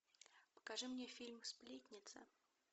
покажи мне фильм сплетница